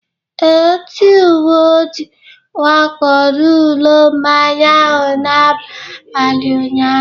Ee, ndị uwe ojii wakporo ụlọ mmanya ahụ n'abalị ụnyahụ